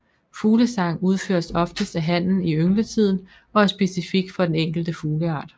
Fuglesang udføres oftest af hannen i yngletiden og er specifik for den enkelte fugleart